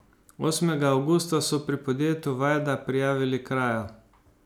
Osmega avgusta so pri podjetju Vajda prijavili krajo.